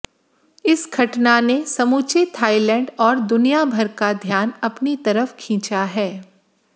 इस घटना ने समूचे थाइलैंड और दुनियाभर का ध्यान अपनी तरफ खींचा है